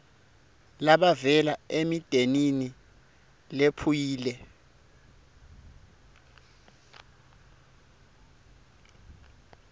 labavela emindenini lephuyile